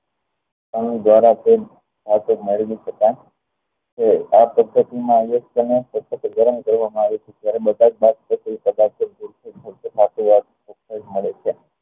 ગરમ દ્વારા આ પદ્ધતિ માં ને સતત ગરમ કરવા માં આવે છે ત્યારે બધા જ મળે છે